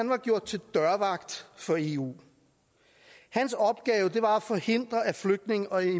var gjort til dørvagt for eu hans opgave var at forhindre at flygtninge og